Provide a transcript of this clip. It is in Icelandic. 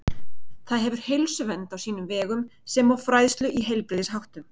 Það hefur heilsuvernd á sínum vegum sem og fræðslu í heilbrigðisháttum.